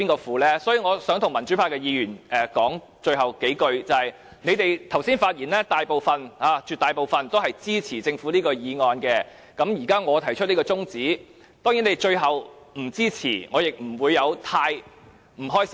最後，我想對民主派議員說，他們剛才的發言絕大部分支持政府的議案，而我現在提出這項中止待續議案，即使他們最後不支持，我也不會感到不開心。